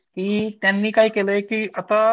की त्यांनी काय केलाय की आता.